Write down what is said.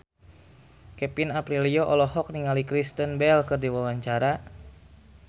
Kevin Aprilio olohok ningali Kristen Bell keur diwawancara